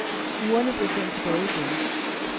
Urene blev sendt tilbage igen.